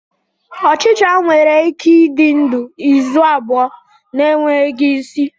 Ochicha nwere ike ịdị ndụ izu abụọ na-enweghị isi.